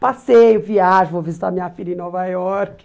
Passeio, viagem, vou visitar minha filha em Nova York.